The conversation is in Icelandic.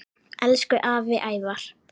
Elsku afi Ævar.